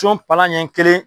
Con palan ɲɛ kelen.